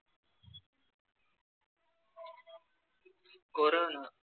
corona